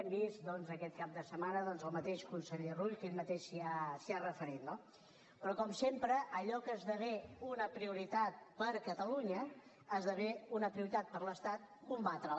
hem vist doncs aquest cap de setmana el mateix conseller rull que ell mateix s’hi ha referit no però com sempre allò que esdevé una prioritat per a catalunya esdevé una prioritat per a l’estat combatre la